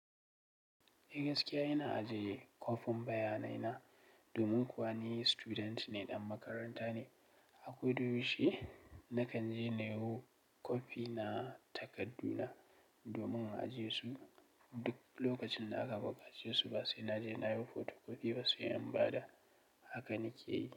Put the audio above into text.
Eh gaskiya ina ajiye kwafin bayanai na domin kuwa ni student ne ɗan makaranta ne. Akwai durushi na kan je na yi kwafi na takardu na domin ajiye su. Duk lokacin da aka buƙace su basai na je na yi fotokofi ba, sai in bada haka nake yi.